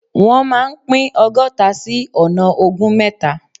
Wọ́n máa pín ọgọ́ta sí ọ̀nà ogún mẹ́ta.